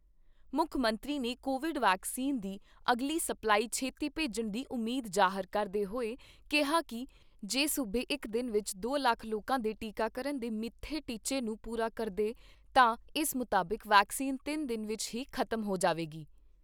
ਮੁੱਖ ਮੰਤਰੀ ਨੇ ਕੋਵਿਡ ਵੈਕਸੀਨ ਦੀ ਅਗਲੀ ਸਪਲਾਈ ਛੇਤੀ ਭੇਜਣ ਦੀ ਉਮੀਦ ਜਾਹਰ ਕਰਦੇ ਹੋਏ ਕਿਹਾ ਕਿ ਜੇ ਸੂਬੇ ਇਕ ਦਿਨ ਵਿਚ ਦੋ ਲੱਖ ਲੋਕਾਂ ਦੇ ਟੀਕਾਕਰਨ ਦੇ ਮਿੱਥੇ ਟੀਚੇ ਨੂੰ ਪੂਰਾ ਕਰਦਾ ਹੈ ਤਾਂ ਇਸ ਮੁਤਾਬਿਕ ਵੈਕਸੀਨ ਤਿੰਨ ਦਿਨ ਵਿਚ ਹੀ ਖਤਮ ਹੋ ਜਾਵੇਗੀ।